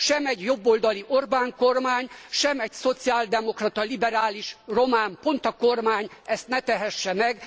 Se egy jobboldali Orbán kormány, se egy szociáldemokrata liberális román Ponta kormány ezt ne tehesse meg.